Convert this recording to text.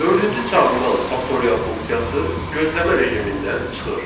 Dördüncü çağırılan faktorial funksiyası gözləmə rejimindən çıxır.